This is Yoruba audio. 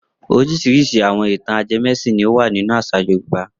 Oríṣiríṣi àwọn ìtàn ajẹmẹ́sìn ni ó wà nínú àṣà Yorùbá.